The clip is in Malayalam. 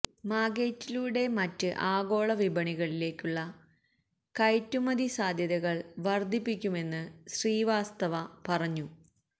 മാഗ്നൈറ്റിലൂടെ മറ്റ് ആഗോള വിപണികളിലേക്കുള്ള കയറ്റുമതി സാധ്യതകള് വര്ധിപ്പിക്കുമെന്ന് ശ്രീവാസ്തവ പറഞ്ഞു